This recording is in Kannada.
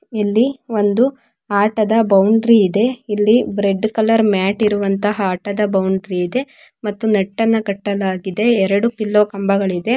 ಇಲ್ಲಿ ಒಂದು ಆಟದ ಬೌಂಡರಿ ಇದೆ ಇಲ್ಲಿ ರೆಡ್ ಕಲರ್ ಮ್ಯಾಟ್ ಇರುವಂತಹ ಆಟದ ಬೌಂಡರಿ ಇದೆ ಮತ್ತು ನೆಟ್ ಅನ್ನ ಕಟ್ಟಲಾಗಿದೆ ಎರಡು ಪಿಲ್ಲರ್ ಕಂಬಗಳಿವೆ.